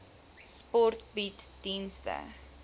sport bied dienste